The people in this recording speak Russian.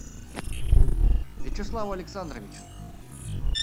вячеслав александрович